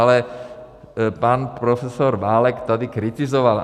Ale pan profesor Válek tady kritizoval.